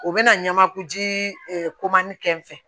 U bɛna ɲamaku ji komani kɛ n fɛ